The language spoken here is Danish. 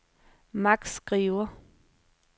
Max Skriver